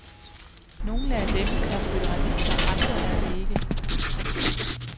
Nogle af dem er føderalister, andre er det ikke.